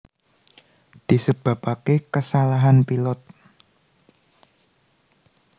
Disebabake kasalahan pilot